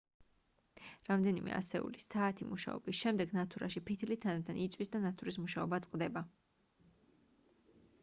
რამდენიმე ასეული საათი მუშაობის შემდეგ ნათურაში ფითილი თანდათან იწვის და ნათურის მუშაობა წყდება